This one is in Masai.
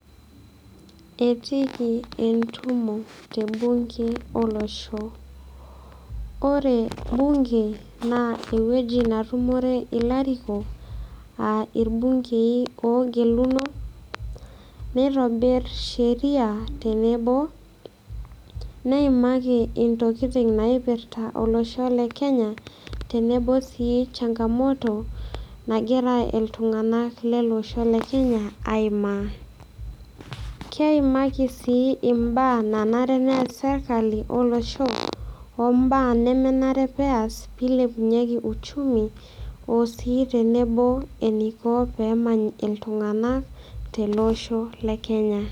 Etiiki entumo te bunge olosho, ore bunge naa ewueji natumore ilarikok a irbung'ei oogeluno nitobir sheria tenebo, neimaki intokitin naipirta olosho le Kenya, tenebo sii changamoto nagira iltung'anak le losho le Kenya aimaa. Keimaki sii imbaa nanare nees sirkali olosho o mbaa nemenare peas piilepunyeki uchumi o sii tenebo eneiko pee emany iltung'anak tele osho le Kenya.